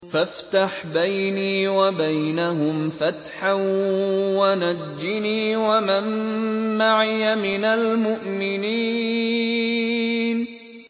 فَافْتَحْ بَيْنِي وَبَيْنَهُمْ فَتْحًا وَنَجِّنِي وَمَن مَّعِيَ مِنَ الْمُؤْمِنِينَ